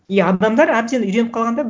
и адамдар әбден үйреніп қалған да